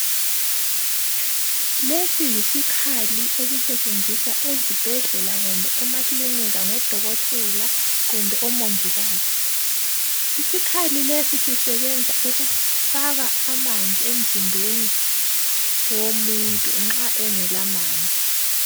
lesiyisikhali esisetshenziswa esibhedlela loba emaklinika ngodokotela loba abomongikazi isikhali lesi sisebenza ukufaka amanzi emzimbeni womuntu nxa engela manzi.